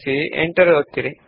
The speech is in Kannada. ನಂತರ ಎಂಟರ್ ಒತ್ತಿ